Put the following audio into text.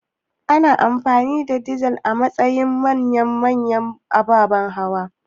Ana amfani da dizal a matsayin man manya-manyan ababan hawa